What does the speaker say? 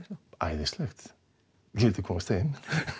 æðislegt við vildum komast heim